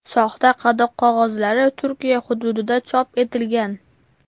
Soxta qadoq qog‘ozlari Turkiya hududida chop etilgan.